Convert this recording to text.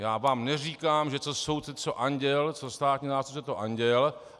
Já vám neříkám, že co soudce, to anděl, co státní zástupce, to anděl.